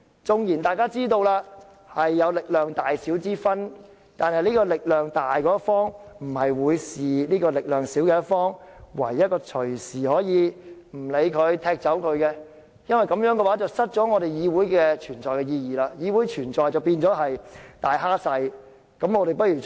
縱然力量有大小之別，但力量強大的一方不應對力量弱小的一方置之不理，認為可以隨時踢走，否則議會便會失卻其存在意義，議會的存在便變成"大蝦細"。